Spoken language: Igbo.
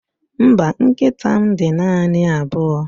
Mba, nkịta m dị naanị abụọ